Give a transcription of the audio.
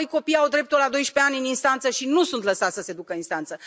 Apoi, copiii au dreptul, la 12 ani, în instanță și nu sunt lăsați să se ducă în instanță.